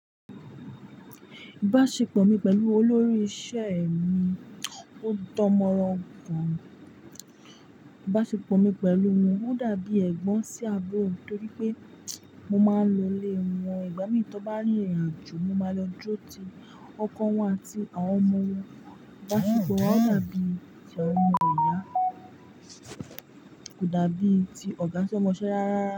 Ìbáṣepọ̀ mi pẹ̀lú olórí iṣẹ́ mi ò dán mọ́rán gọ̀n ni. Ìbáṣepọ̀ mi pẹ̀lú òun ò dàbí ẹ̀gbọ́n sí àbúrò torí pé mo máa ń lọlé wọn. Ìgbà mí tí ó bá rí ìrìnàjò, mo máa lọ jó ti ọkọ wọn àti àwọn ọmọ wọn. Ìbáṣepọ̀ wa ò dàbí ti ọmọ ìyá, kò dàbí ti ọ̀gá si ọ mọṣẹ́ rárárara.